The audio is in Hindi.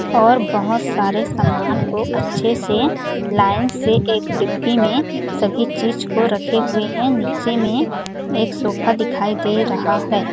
और बहोत सारे सामान को अच्छे से लाइन से एक डिक्की में सभी चीज को रखे हुए है नीचे में एक सोफा दिखाई दे रहा हैं ।